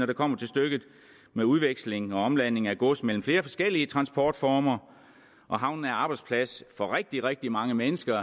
det kommer til stykket med udveksling og omladning af gods mellem flere forskellige transportformer og havnen er arbejdsplads for rigtig rigtig mange mennesker